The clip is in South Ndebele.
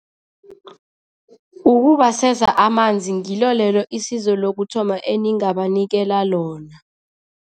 Ukubaseza amanzi, ngilo lelo isizo lokuthoma eningabanikela lona.